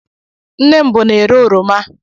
Nne m bụ na-ere oroma.